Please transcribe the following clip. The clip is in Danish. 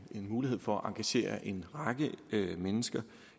mulighed for at engagere en række mennesker